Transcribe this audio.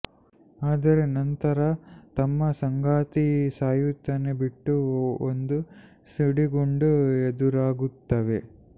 ಆದರೆ ನಂತರ ತಮ್ಮ ಸಂಗಾತಿ ಸಾಯುತ್ತಾನೆ ಬಿಟ್ಟು ಒಂದು ಸಿಡಿಗುಂಡು ಎದುರಾಗುತ್ತವೆ